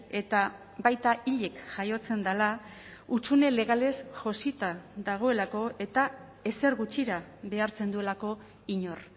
eta baita hilik jaiotzen dela hutsune legalez josita dagoelako eta ezer gutxira behartzen duelako inor